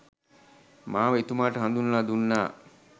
මාව එතුමාට හඳුන්වලා දුන්නා